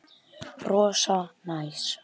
Rosa næs.